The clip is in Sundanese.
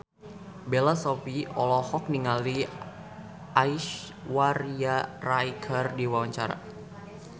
Bella Shofie olohok ningali Aishwarya Rai keur diwawancara